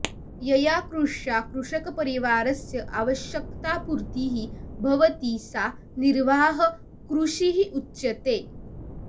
यया कृष्या कृषकपरिवारस्य आवश्यकतापूर्तिः भवति सा निर्वाहकृषिः उच्यते